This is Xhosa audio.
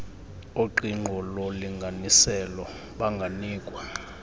oqingqo lolinganiselo banganikwa